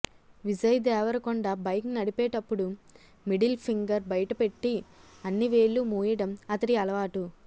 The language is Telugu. విజయ్ దేవరకొండ బైక్ నడిపేటప్పుడు మిడిల్ ఫింగర్ బయటపెట్టి అన్ని వేళ్ళు మూయడం అతడి అలవాటు